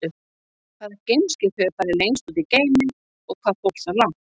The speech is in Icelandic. Hvaða geimskip hefur farið lengst út í geiminn og hvað fór það langt?